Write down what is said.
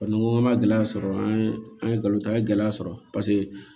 n ko an ma gɛlɛya sɔrɔ an ye an ye nkalon ta ye gɛlɛya sɔrɔ paseke